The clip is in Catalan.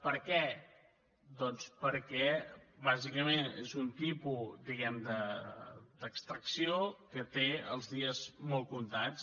per què doncs perquè bàsicament és un tipus diguem d’extracció que té els dies molt comptats